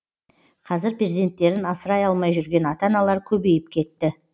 қазір перзенттерін асырай алмай жүрген ата аналар көбейіп кетті